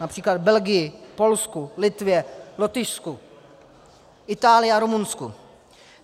Například Belgii, Polsku, Litvě, Lotyšsku, Itálii a Rumunsku.